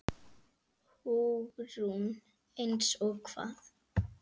Hugrún: Eins og hvað?